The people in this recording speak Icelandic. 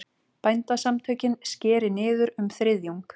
Bændasamtökin skeri niður um þriðjung